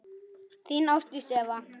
Þín Ásdís Eva.